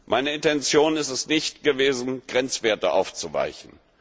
Meine Intention ist es nicht gewesen, Grenzwerte aufzuweichen.